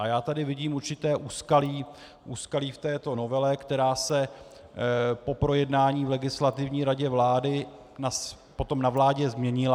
A já tady vidím určité úskalí v této novele, která se po projednání v Legislativní radě vlády potom na vládě změnila.